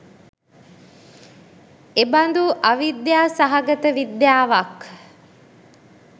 එබඳු අවිද්‍යා සහගත විද්‍යාවක්